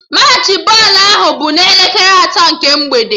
Machị bọọlụ ahụ bụ n'elekere atọ nke mgbede